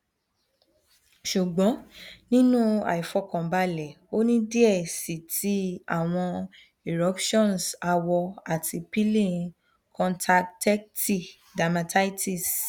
ṣugbọn ninu aifọkanbalẹ o ni diẹ sii ti awọn eruptions awọ ati peeling kọntaktẹti dermatitis